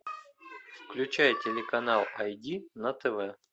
включай телеканал ай ди на тв